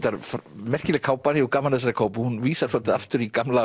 merkileg kápan ég gaman af þessari kápu hún vísar svolítið aftur í gamla